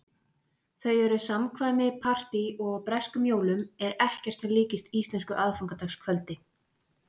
Þau eru samkvæmi- partí- og á breskum jólum er ekkert sem líkist íslensku aðfangadagskvöldi.